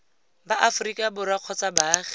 ba aforika borwa kgotsa baagi